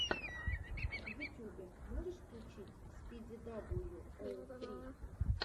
в ютубе можешь включить спиди дабл ю оу фри